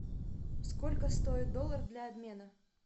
сколько стоит доллар для обмена